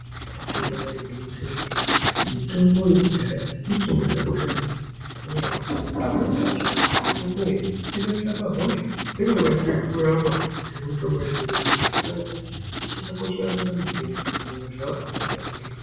Ibaari gwinyiso yemene, mitombo yekudhaya mitombo yakakosha maningi ngenyaya yekuti pamwe pacho mitombo iyi inotorapa hosha dzinokwanise kurapwa ngemitombo yezvino-zvino zvinoratidze kuti ichakakoshera ndaramo dzedu nyangwe zvavo akawanda asingaifariri.